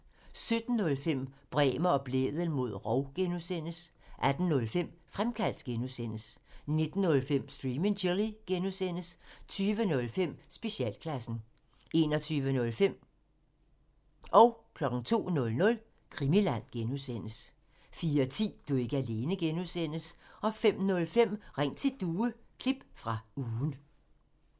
17:05: Bremer og Blædel mod rov (G) 18:05: Fremkaldt (G) 19:05: Stream and Chill (G) 20:05: Specialklassen 21:05: Krimiland (G) 02:00: Krimiland (G) 04:10: Du er ikke alene (G) 05:05: Ring til Due – klip fra ugen